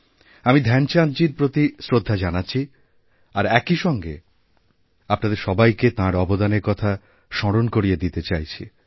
আমি ধ্যানচাঁদজীর প্রতি শ্রদ্ধা জানাচ্ছি আর একই সঙ্গে আপনাদেরসবাইকে তাঁর অবদানের কথা স্মরণ করিয়ে দিতে চাইছি